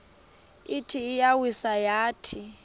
ithi iyawisa yathi